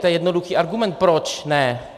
To je jednoduchý argument, proč ne.